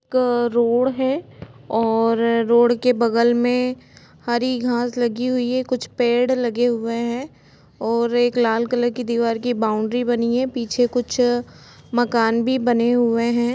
Road है और road के बगल में हरी घास लगी हुई है कुछ पेड़ लगे हुए है और एक लाल कलर की दीवार की बाउंड्री बनी है पीछे कुछ मकान भी बने हुए है।